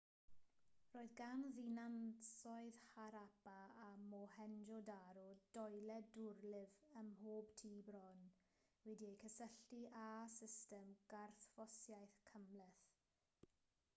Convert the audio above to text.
roedd gan ddinasoedd harappa a mohenjo-daro doiled dwrlif ym mhob tŷ bron wedi'u cysylltu â system garthffosiaeth gymhleth